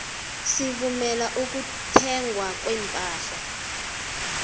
sivumela ukuthengwa kwepahla